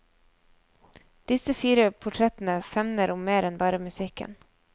Disse fire portrettene femner om mer enn bare musikken.